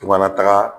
Kumana taga